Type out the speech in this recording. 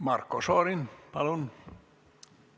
Marko Šorin, palun!